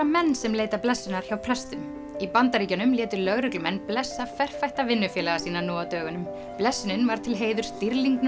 menn sem leita blessunar hjá prestum í Bandaríkjunum létu lögreglumenn blessa vinnufélaga sína nú á dögunum blessunin var til heiðurs